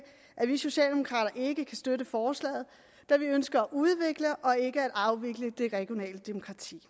at vi socialdemokrater ikke kan støtte forslaget da vi ønsker at udvikle og ikke at afvikle det regionale demokrati